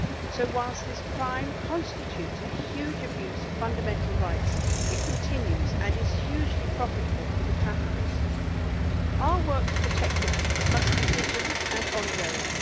So whilst this crime constitutes a huge abuse of fundamental rights, it continues and is hugely profitable for the traffickers. Our work to protect victims must be vigilant and ongoing.